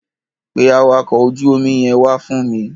Pe àwakọ̀ ojú omi yẹn wá fún mi.